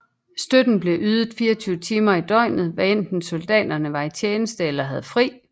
Støtten blev ydet 24 timer i døgnet hvad enten soldaterne var i tjeneste eller havde fri